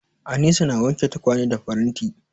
Anisa na wanke tukwane da faranti.